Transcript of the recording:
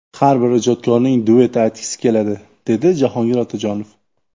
Har bir ijodkorning duet aytgisi keladi, dedi Jahongir Otajonov.